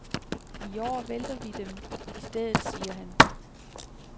I år vælter vi dem i stedet, siger han.